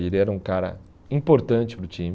Ele era um cara importante para o time.